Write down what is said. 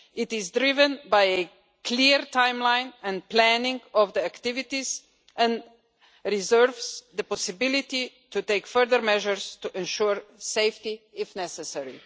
It is driven by a clear timeline and planning of the activities and reserves the possibility to take further measures to ensure safety if necessary.